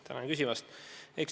Tänan küsimast!